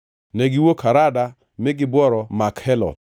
Negiwuok Harada mi gibworo Makheloth.